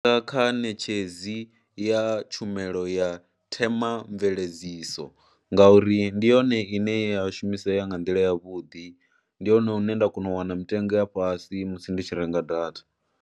Kha ṋetshedzi ya tshumelo ya themamveledziso ngauri ndi yone ine ya shumisea ya nga nḓila yavhuḓi, ndi hone hune nda kona u wana mitengo ya fhasi musi ndi tshi renga data.